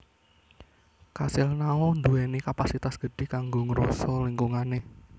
Kasil Nao ndhuwèni kapasitas gedhi kanggo ngroso lingkungané